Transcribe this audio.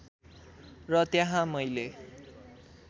र त्यहाँ मैले